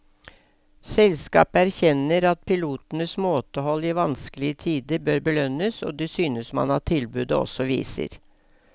Selskapet erkjenner at pilotenes måtehold i vanskelige tider bør belønnes, og det synes man at tilbudet også viser.